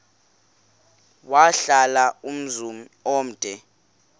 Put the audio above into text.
wahlala umzum omde